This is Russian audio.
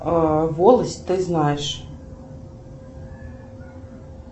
а волость ты знаешь